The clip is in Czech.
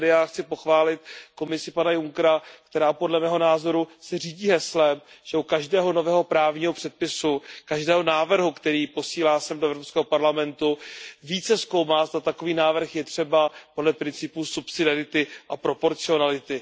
Tady já chci pochválit Komisi pana Junckera, která podle mého názoru se řídí heslem, že u každého nového právního předpisu, každého návrhu, který posílá sem, do Evropského parlamentu, více zkoumá, zda takový návrh je třeba podle principu subsidiarity a proporcionality.